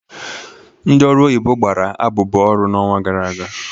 Ndị ọrụ oyibo gbara abụbọ ọrụ n'ọnwa gara aga.